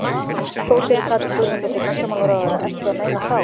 Þorgerður Katrín Gunnarsdóttir, menntamálaráðherra: Ertu að meina þá?